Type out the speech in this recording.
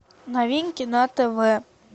новинки на тв